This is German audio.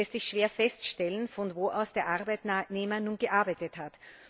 Es lässt sich schwer feststellen, von wo aus der Arbeitnehmer nun gearbeitet hat.